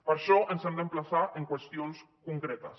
per això ens hem d’emplaçar en qüestions concretes